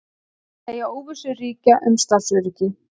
Segja óvissu ríkja um starfsöryggi